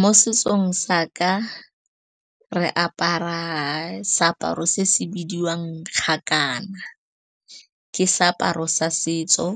Mo setsong sa ka, re apara seaparo se se bidiwang kgakana. Ke seaparo sa setso